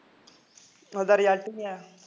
ਉਹਦਾ ਰਿਜਲਟ ਨੀ ਆਇਆ